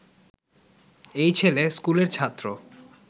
এই ছেলে স্কুলের ছাত্র